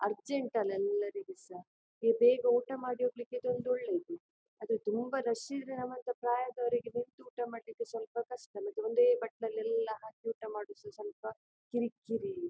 Urgent ಅಲ್ಲಿ ಎಲ್ಲರಿಗು ಸಹ ಹೇ ಬೇಗ ಊಟ ಮಾಡಿ ಹೋಗ್ಲಿಕ್ಕೆ ಇದೊಂದು ಒಳ್ಳೇದು ಆದ್ರೆ ತುಂಬಾ ರಶ್ ಇದ್ರೆ ನಮ್ಮಂತ ಪ್ರಾಯದವರಿಗೆ ನಿಂತು ಊಟ ಮಾಡ್ಲಿಕ್ಕೆ ಸ್ವಲ್ಪ ಕಷ್ಟ ನಮಗೆ ಒಂದೇ ಬಟ್ಟಲಿನಲ್ಲಿ ಹಾಕಿ ಊಟ ಮಾಡೋದು ಸ್ವಲ ಸ್ವಲ್ಪ ಕಿರಿಕಿರಿ.